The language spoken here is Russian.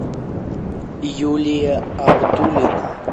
юлия абдулина